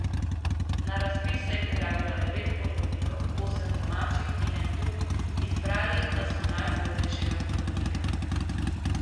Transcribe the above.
Na razpis se je prijavilo devet ponudnikov, osem domačih in en tuj, izbrali pa so najugodnejšega ponudnika.